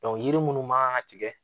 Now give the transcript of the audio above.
yiri munnu man ka tigɛ